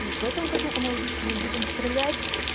в этом году аналогично мы будем стрелять